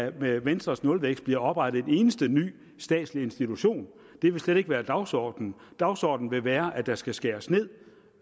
at der med venstres nulvækst bliver oprettet en eneste ny statslig institution det vil slet ikke være dagsordenen dagsordenen vil være at der skal skæres ned